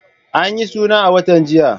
An yi suna a watan jiya.